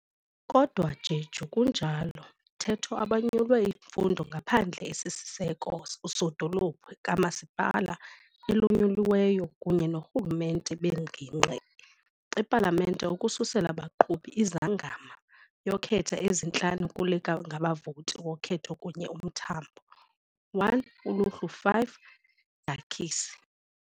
Kodwa Jeju kunjalo mthetho abanyulwe imfundo ngaphandle esisiseko usodolophu kamasipala elinyuliweyo kunye noorhulumente beengingqi ipalamente ukususela baqhuba ezingama yokhetho ezintlanu kule ngabavoti wokhetho kunye umthambo 1 ULUHLU 5, Jachisi